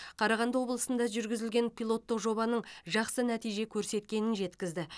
қарағанды облысында жүргізілген пилоттық жобаның жақсы нәтиже көрсеткенін жеткізді